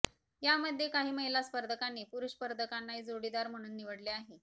यामध्ये काही महिला स्पर्धकांनी पुरुष स्पर्धकांनाही जोडीदार म्हणून निवडले आहे